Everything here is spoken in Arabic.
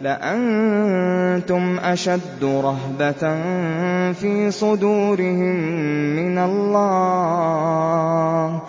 لَأَنتُمْ أَشَدُّ رَهْبَةً فِي صُدُورِهِم مِّنَ اللَّهِ ۚ